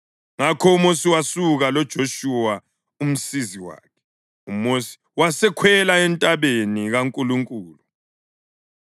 Ngakho uMosi wasuka loJoshuwa umsizi wakhe, uMosi wasekhwela entabeni kaNkulunkulu.